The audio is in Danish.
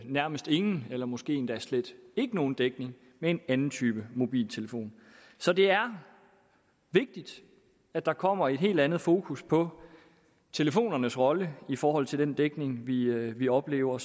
nærmest ingen eller måske endda slet ikke nogen dækning med en anden type mobiltelefon så det er vigtigt at der kommer et helt andet fokus på telefonernes rolle i forhold til den dækning vi vi oplever